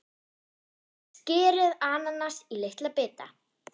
Skerið ananas í litla bita.